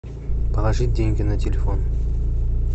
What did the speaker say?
положить деньги на телефон